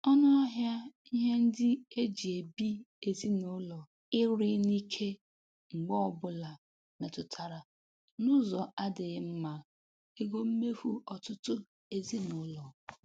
Ọnụahịa ihe ndị eji ebi ezinụlọ ịrị n'ike mgbe ọbụla emetụla n'ụzọ adịghị mma ego mmefu ọtụtụ ezinụlọ.